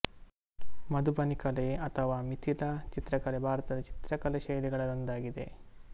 ಮಧುಬನಿಕಲೆ ಅಥವ ಮಿಥಿಲ ಚಿತ್ರಕಲೆ ಭಾರತದ ಚಿತ್ರ್ಕಲೆ ಶೈಲಿಗಳಲ್ಲಿ ಒಂದಾಗಿದೆ